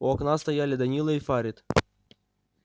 у окна стояли данила и фарид